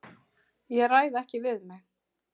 Ég ræð ekki við mig.